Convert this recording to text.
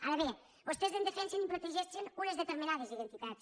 ara bé vostès en defensen i en protegeixen unes determinades identitats